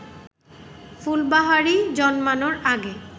ফুলবাহারি জন্মানোর আগে